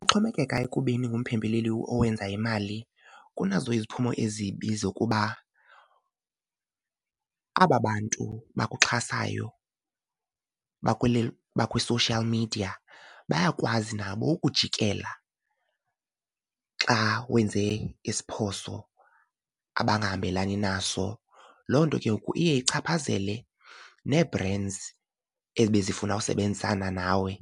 Kuxhomekeka ekubeni ngumphembeleli owenza imali kunazo iziphumo ezibi zokuba aba bantu bakuxhasayo bakwi-social media bayakwazi nabo ukujikela xa wenze iziphoso abangahambelani naso. Loo nto ke ngoku iye ichaphazele nee-brands ebezifuna usebenzisana nawe